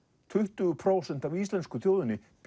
tuttugu prósent af íslensku þjóðinni